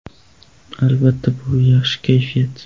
Albatta, bu - yaxshi kayfiyat.